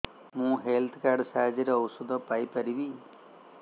ମୁଁ health card ସାହାଯ୍ୟରେ ଔଷଧ ପାଇ ପାରିବି